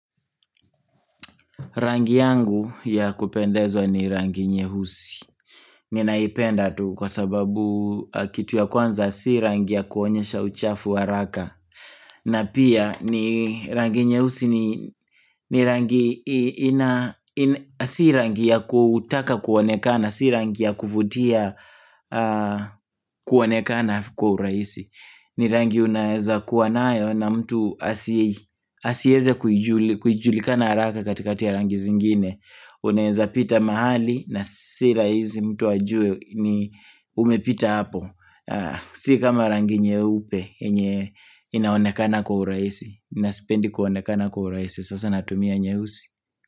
Rangi yangu ya kupendezwa ni rangi nyeusi Ninaipenda tu kwa sababu kitu ya kwanza si rangi ya kuonyesha uchafu haraka na pia ni rangi nyeusi ni rangi ina Si rangi ya kutaka kuonekana, si rangi ya kuvutia kuonekana kwa urahisi ni rangi unaweza kuwa nayo na mtu asieze kujulikana haraka katikati ya rangi zingine uneza pita mahali na si rahisi mtu ajue ni umepita hapo si kama rangi nyeupe yenye inaonekana kwa urahisi nasipendi kuonekana kwa urahisi sasa natumia nyeusi.